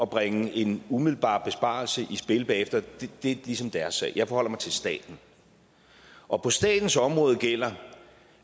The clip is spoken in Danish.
bringe en umiddelbar besparelse i spil bagefter er ligesom deres sag jeg forholder mig til staten og på statens område gælder